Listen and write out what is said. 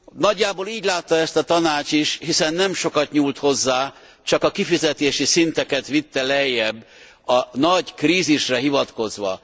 Nagyjából így látta ezt a Tanács is, hiszen nem sokat nyúlt hozzá, csak a kifizetési szinteket vitte lejjebb a nagy krízisre hivatkozva.